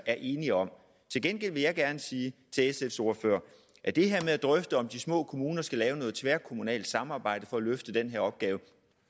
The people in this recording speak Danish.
er enige om til gengæld vil jeg gerne sige til sfs ordfører at det her med at drøfte om de små kommuner skal lave noget tværkommunalt samarbejde for at løfte den her opgave